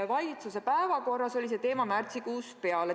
Valitsuse päevakorras oli see teema märtsikuust peale.